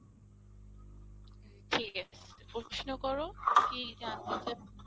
ঠিক আছে, প্রশ্ন করো কি জানতে চাও?